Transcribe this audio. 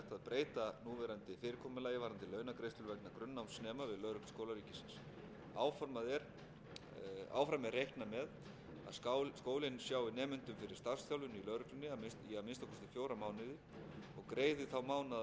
breyta núverandi fyrirkomulagi varðandi launagreiðslur vegna grunnnámsnema við lögregluskóla ríkisins áfram er reiknað með að skólinn sjái nemendum fyrir starfsþjálfun í lögreglunni í að minnsta kosti fjóra mánuði og greiði þá mánaðarlaun þeirra hins vegar verði hætt að greiða lögreglunemum laun á meðan þeir stunda bóknám en